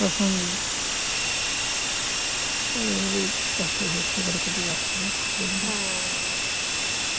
তখন এই ভাবেই কষ্টে সৃষ্টি কেটে গেছে না দিনগুলো